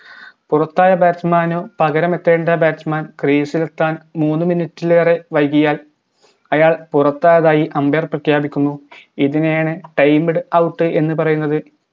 പുറത്തായ batsman പകരമെത്തേണ്ട batsman crease ലെത്താൻ മൂന്ന് minute ലേറെ വൈകിയാൽ അയാൾ പുറത്തായതായി umbair പ്രഖ്യാപിക്കുന്നു ഇതിനെയാണ് timed out എന്ന് പറയുന്നത്